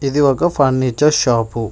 ఇది ఒక furniture shop .